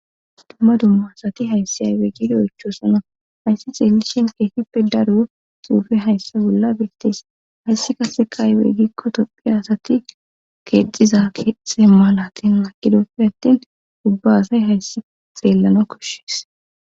Dumma dumma asati hayssi aywe gido oychosana hayssi xeellishin keefippe daro xuufe hayssa bolla biitis hayssi kase qaayweeggikko tophi asati keexiza xe mala tin maqidoppe attin ubba asay hayssi xeellana koshshees